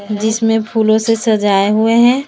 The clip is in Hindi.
जिसमें फूलों से सजाए हुए हैं।